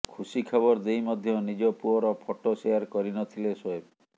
ଖୁସି ଖବର ଦେଇ ମଧ୍ୟ ନିଜ ପୁଅର ଫଟୋ ସେୟାର କରି ନଥିଲେ ସୋଏବ୍